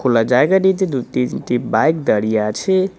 খোলা জায়গাটিতে দুই-তিনটি বাইক দাঁড়িয়ে আছে।